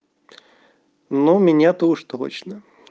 ну меня то уж точно